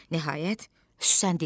Nəhayət, Süslən dinləndi.